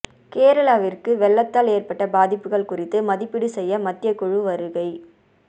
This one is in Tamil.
கேரளாவிற்கு வெள்ளத்தால் ஏற்பட்ட பாதிப்புகள் குறித்து மதிப்பீடு செய்ய மத்திய குழு வருகை